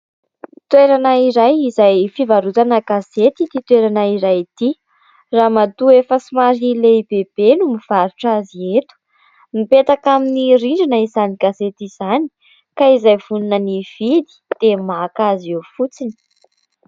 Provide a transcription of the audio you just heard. Toerana iray izay fivarotana gazety ity toerana iray ity. Ramatoa efa somary lehibebe no mivarotra azy eto. Mipetaka amin'ny rindrina izany gazety izany ka izay vonona ny hividy dia maka azy eo fotsiny.